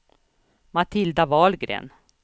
Matilda Wahlgren